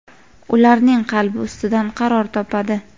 ularning qalbi ustidan qaror topadi.